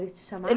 Eles te